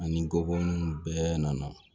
Ani gɔbɔniw bɛɛ nana